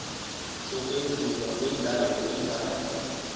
sokwenziwa kwendawo indawo